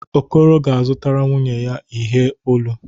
Okoro ga-azụtara nwunye ya ihe olu.